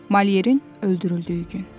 Malyerin öldürüldüyü gün.